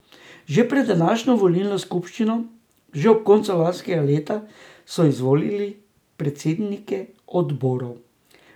Že pred današnjo volilno skupščino, že ob koncu lanskega leta, so izvolili predsednike odborov.